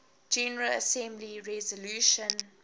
general assembly resolution